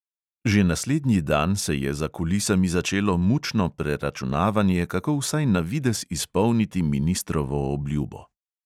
Že naslednji dan se je za kulisami začelo mučno preračunavanje, kako vsaj na videz izpolniti ministrovo obljubo.